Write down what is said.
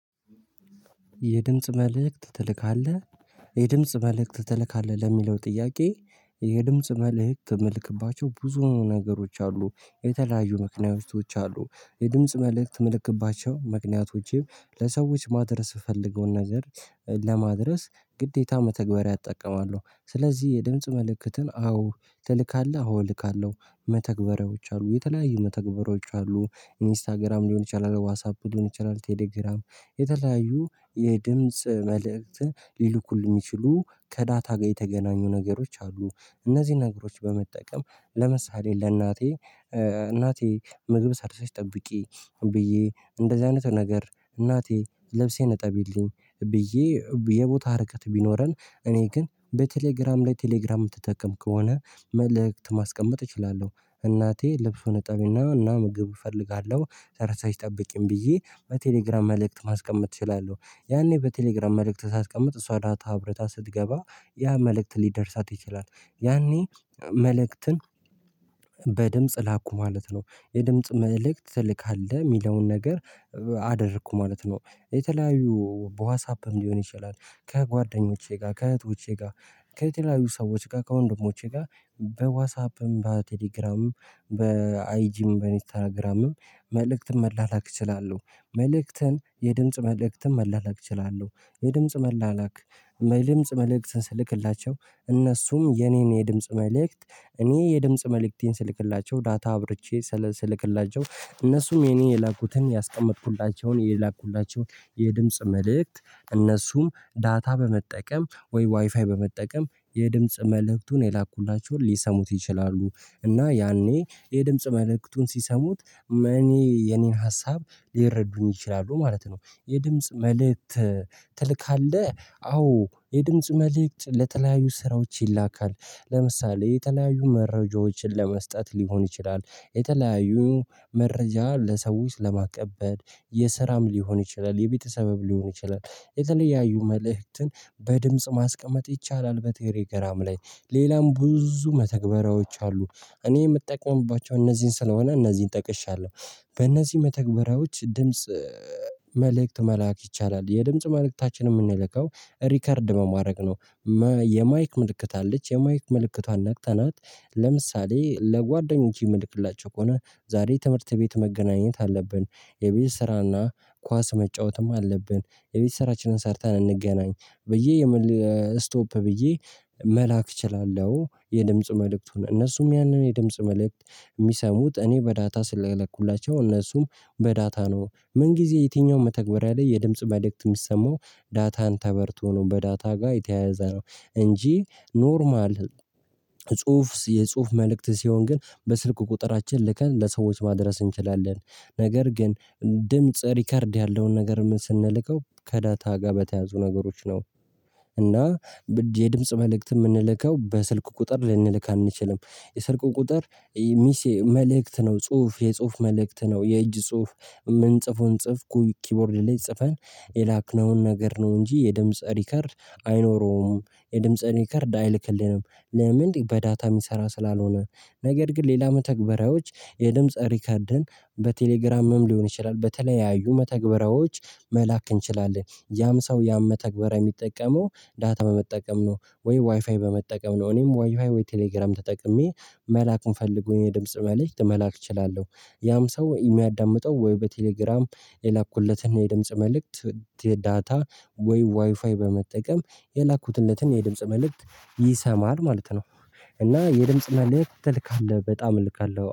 የድምጽ መልእክት ትልካለህ? የድምጽ መልእክት ትልካለህ ለሚለው ጥያቄ እ የድምጽ መልእክት ምልክባቸው ብዙ ነገሮች አሉ የተለያዩ ምክንያቶች አሉ። የድምጽ መልእክት ምልክባቸው ምክንያቶችም ለሰዎች ማድረስ ምፈልገውን ነገር እ ለማድረስ ግዴታ መተግበሪያ እጠቀማለሁ። ስለዚህ የድምጽ መልእክትን አዎ ትልካለህ አዎ እልካለሁ። መተግበሪያዎች አሉ የተለያዩ መተግበሪያዎች አሉ ኢንስታግራም ሊሆን ይችላል ዋትሳፕ ሊሆን ይችላል ቴሌግራም የተለያዩ የ የድምጽ መልእክት ሊልኩልኝ የሚችሉ ከዳታ ጋር የተገናኙ ነገሮች አሉ። እነዚህን ነገሮች በመጠቀም ለምሳሌ ለእናቴ እ እናቴ ምግብ ሰርተሽ ጠብቂ ብዬ እንደዚህ አይነት ነገር እናቴ ልብሴን እጠቢልኝ ብዬ የቦታ ርቀት ቢኖረን እኔ ግን በቴሌግራም ላይ ቴሌግራም የምትጠቀም ከሆነ መልእክት ማስቀመጥ እችላለሁ። እናቴ ልብሱን እጠቢና እና ምግብ እፈልጋለሁ ሰርተሽ ጠብቂኝ ብዬ በቴሌግራም መልእክት ማስቀመጥ እችላለሁ። ያኔ በቴሌግራም መልእክት ሳስቀምጥ እሷ ዳታ አብርታ ስትገባ ያ መልእክት ሊደርሳት ይችላል። ያኔ እ መልእክትን በድምጽ ላኩ ማለት ነው። የድምጽ መልእክት ትልካለህ የሚለውን ነገር አደረኩ ማለት ነው። የተለያዩ በዋትሳፕም ሊሆን ይችላል ከጓደኞቼ ጋር ከእህቶቼ ጋር ከተለያዩ ሰዎች ጋር ከወንድሞቼ ጋር በዋትሳፕም በቴሌግራምም በአይጂም በኢንስታግራምም መልእክትን መላላክ እችላለሁ። መልእክትን የድምጽ መልእክትን መላላክ እችላለሁ። የድምጽ መላላክ የድምጽ መልእክት ስልክላቸው እነሱም የኔን የድምጽ መልእክት እኔ የድምጽ መልእክቴን ስልክላቸው ዳታ አብርቼ ስልክላቸው እነሱም የኔ የላኩትን ያስቀመጥኩላቸውን የላኩላቸውን የድምጽ መልእክት እነሱም ዳታ በመጠቀም ወይ ዋይፋይ በመጠቀም የድምጽ መልእክቱን የላኩላቸውን ሊሰሙት ይችላሉ እና ያኔ የድምጽ መልእክቱን ሲሰሙት እኔ የኔን ሀሳብ ሊረዱኝ ይችላሉ ማለት ነው። የድምጽ መልእክት ትልካለህ? አዎ የድምጽ መልእክት ለተለያዩ ስራዎች ይላካል። ለምሳሌ የተለያዩ መረጃዎችን ለመስጠት ሊሆን ይችላል። የተለያዩ መረጃ ለሰዎች ለማቀበል የስራም ሊሆን ይችላል የቤተሰብም ሊሆን ይችላል። የተለያዩ መልእክትን በድምጽ ማስቀመጥ ይቻላል በቴሌግራም ላይ ሌላም ብዙ መተግበሪያዎች አሉ። እኔ የምጠቀምባቸው እነዚህን ስለሆነ እነዚህን ጠቅሻለሁ። በእነዚህ መተግበሪያዎች ድምጽ እ መልእክት መላክ ይቻላል። የድምጽ መልእክታችን የምንልከው ሪከርድ በማረግ ነው። የማይክ ምልክት አለች የማይክ ምልክቷን ነክተናት ለምሳሌ ለጓደኞች የምልክላቸው ከሆነ ዛሬ ትምህርት ቤት መገናኘት አለብን። የቤት ስራና ኳስ መጫወትም አለብን የቤት ስራችንን ሰርተን እንገናኝ። ብዬ የምል ስቶፕ ብዬ መላክ እችላለሁ። የድምጽ መልእክቱን እነሱም ያንን የድምጽ መልእክት የሚሰሙት እኔ በዳታ ስለላኩላቸው እነሱም በዳታ ነው ምን ጊዜ የትኛውም መተግበሪያ ላይ የድምጽ መልእክት የሚሰማው ዳታን ተበርቶ ነው። በዳታ ጋር የተያያዘ ነው። እንጂ ኖርማል እ ጽሁፍ የጽሁፍ መልእክት ሲሆን ግን በስልክ ቁጥራችን ልከን ለሰዎች ማድረስ እንችላለን። ነገር ግን ድምጽ ሪከርድ ያለውን ነገር ስንልከው ከዳታ ጋር በተያያዙ ነገሮች ነው። እና በ የድምጽ መልእክት የምንልከው በስልክ ቁጥር ልንልክ አንችልም። የስልክ ቁጥር እ ሚሴ መልእክት ነው ጽሁፍ የጽሁፍ መልእክት ነው። የእጅ ጽሁፍ የምንጽፈውን ጽሁፍ ኪቦርድ ላይ ጽፈን የላክነውን ነገር ነው። እንጂ የድምጽ ሪከርድ አይኖረውም የድምጽ ሪከርድ አይልክልንም። ለምን? በዳታ የሚሰራ ስላልሆነ። ነገር ግን ሌላ መተግበሪያዎች የድምጽ ሪከርድን በቴሌግራምም ሊሆን ይችላል። በተለያዩ መተግበሪያዎች መላክ እንችላለን ያም ሰው ያን መተግበሪያ የሚጠቀመው ዳታ በመጠቀም ነው ወይ ዋይፋይ በመጠቀም ነው። እኔም ዋይፋይ ወይ ቴሌግራም ተጠቅሜ መላክ ምፈልገውን የድምጽ መልእክት መላክ እችላለሁ። ያም ሰው የሚያዳምጠው ወይ በቴሌግራም የላኩለትን የድምጽ መልእክት ዳታ ወይ ዋይፋይ በመጠቀም የላኩለትን የድምጽ መልእክት ይሰማል ማለት ነው። እና የድምጽ መልእክት ትልካለህ በጣም እልካለሁ